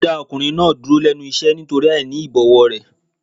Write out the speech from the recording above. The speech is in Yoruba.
Wọn dá ọkùnrin náà dúró lẹ́nu iṣẹ́ nítorí àìní ìbọ̀wọ̀ rẹ̀.